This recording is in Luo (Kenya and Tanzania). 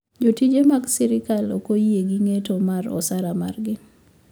Jotije mag sirkal ok oyie gi ng`eto mar osara margi